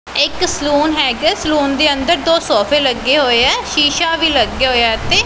ਇਹ ਇੱਕ ਸਲੂਨ ਹੈਗਾ ਐ ਸਲੂਨ ਦੇ ਅੰਦਰ ਦੋ ਸੋਫ਼ੇ ਲੱਗੇ ਹੋਏ ਐ ਸ਼ੀਸ਼ਾ ਵੀ ਲੱਗਿਆ ਹੋਇਆ ਐ ਇੱਥੇ।